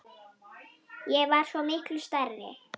Ég var svo miklu stærri.